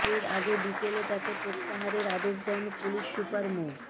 এর আগে বিকেলে তাকে প্রত্যাহারের আদেশ দেন পুলিশ সুপার মো